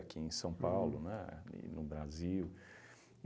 aqui em São Paulo, né, e no Brasil.